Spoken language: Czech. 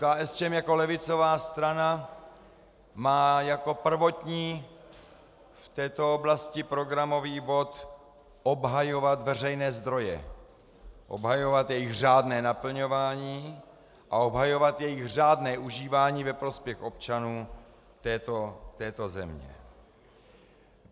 KSČM jako levicová strana má jako prvotní v této oblasti programový bod obhajovat veřejné zdroje, obhajovat jejich řádné naplňování a obhajovat jejich řádné užívání ve prospěch občanů této země.